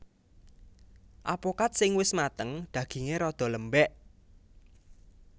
Apokat sing wis mateng dagingé rada lembèk